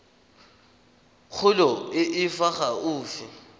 kgolo e e fa gaufi